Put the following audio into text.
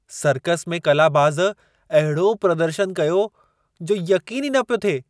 Circus में कलाबाज़ अहिड़ो प्रदर्शनु कयो, जो यक़ीन ई न पियो थिए!